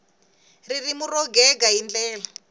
ririmi ro gega hi ndlela